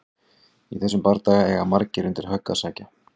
Í þessum bardaga eiga margir undir högg að sækja!